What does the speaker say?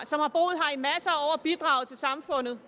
bidraget til samfundet